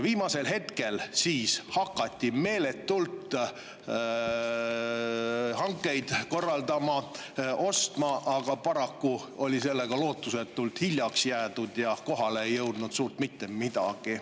Viimasel hetkel hakati meeletult hankeid korraldama, ostma, aga paraku oldi sellega lootusetult hiljaks jäädud ja kohale ei jõudnud suurt mitte midagi.